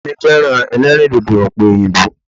Ìyá mi féràn elérìndòdò òpè òyìnbó